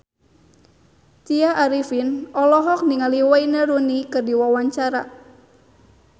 Tya Arifin olohok ningali Wayne Rooney keur diwawancara